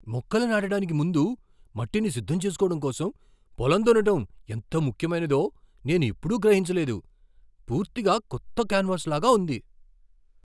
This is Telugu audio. మొక్కలు నాటడానికి ముందు మట్టిని సిద్ధం చేసుకోవడం కోసం పొలం దున్నడం ఎంత ముఖ్యమైనదో నేనెప్పుడూ గ్రహించలేదు. పూర్తిగా కొత్త కాన్వాస్లాగా ఉంది.